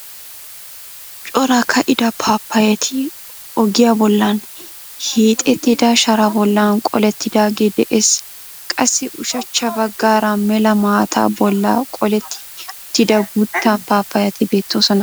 Cora ka"ida paapayati ogiyaa bollan hiixettida sharaa bollan qolettidaagee de'ees. Qassi ushachcha baggaara mela maataa bolla qolletti uttida guutta paapayati beettoosona.